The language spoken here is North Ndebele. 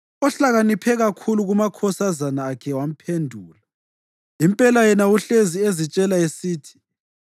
Ohlakaniphe kakhulu kumakhosazana akhe wamphendula; impela yena uhlezi ezitshela esithi,